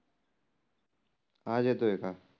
आज येतोय का?